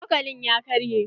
Cokalin ya karye.